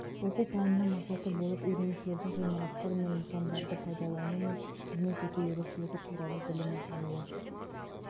оқу пәнінің мақсаты болып үйренушілердің ғимараттар мен нысандарды пайдалану мен қызмет ету ерекшелігі туралы білімін алуы